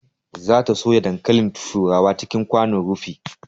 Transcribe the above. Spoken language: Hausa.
Za ta soya dankalin turawa cikin kwanon rufi